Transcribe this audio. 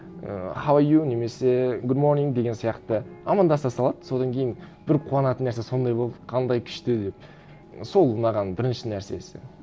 і хау а ю немесе гуд монин деген сияқты амандаса салады содан кейін бір қуанатын нәрсе сондай болды қандай күшті деп сол ұнаған бірінші нәрсесі